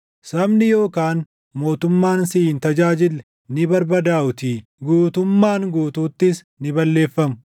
Sabni yookaan mootummaan si hin tajaajille // ni barbadaaʼuutii; guutummaan guutuuttis ni balleeffamu.